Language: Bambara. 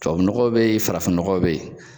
Tubabu nɔgɔ be yen, farafin nɔgɔ be yen.